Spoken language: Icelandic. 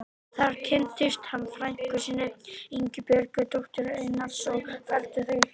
Þar kynntist hann frænku sinni, Ingibjörgu, dóttur Einars og felldu þau hugi saman.